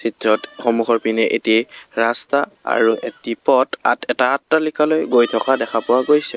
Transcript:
ভিতৰত সন্মুখৰ পিনে এটি ৰাস্তা আৰু এটি পথ এটা আট্টালিকালৈ গৈ থকা দেখা পোৱা গৈছে।